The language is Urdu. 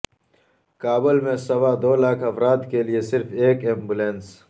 کابل میں سوا دو لاکھ افراد کے لیے صرف ایک ایمبولینس